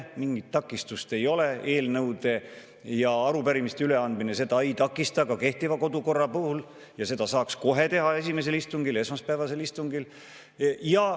Mingit takistust ei ole, eelnõude ja arupärimiste üleandmine seda ei takista ka kehtiva kodukorra puhul, ja seda saaks teha kohe esimesel istungil, esmaspäevasel istungil.